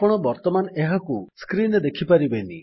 ଆପଣ ବର୍ତ୍ତମାନ ଏହାକୁ ସ୍କ୍ରୀନ୍ ରେ ଦେଖି ପାରିବେନି